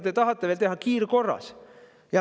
Te tahate seda teha kiirkorras.